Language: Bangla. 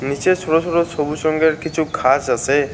নীচে ছোট ছোট সবুজ রঙ্গের কিছু ঘাস আছে।